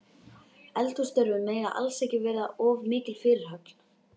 Eldhússtörfin mega alls ekki verða of mikil fyrirhöfn.